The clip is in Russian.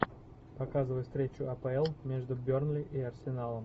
показывай встречу апл между бернли и арсеналом